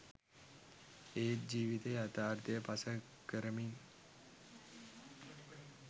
එත් ජිවිතේ යතාර්ථය පසක් කරමින්